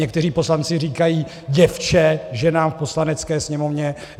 Někteří poslanci říkají děvče ženám v Poslanecké sněmovně.